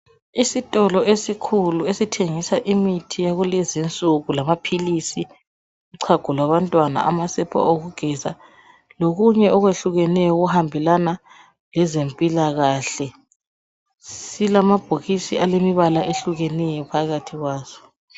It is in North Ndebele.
Isitolo esikhulu esithengisa imithi yakulezinsuku lamaphilisi uchago kwabantwana amasepa okugeza lokunye okwehlukeneyo okuhambelana lezempilakahle silamabhokisi alombala ohlukeneyo phakathi kwaso